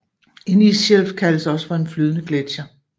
En isshelf kaldes også for en flydende gletsjer